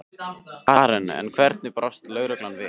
Karen: En hvernig brást lögreglan við?